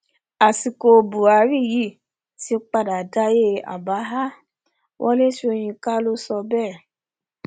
àsìkò buhari yìí ti padà dayé àbáhà wọlé sọyìnkà ló sọ bẹẹ